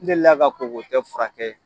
N delila ka kookotɔ furakɛ